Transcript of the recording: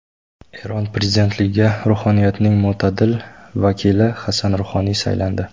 Eron prezidentligiga ruhoniyatning mo‘tadil vakili Hasan Ruhoniy saylandi.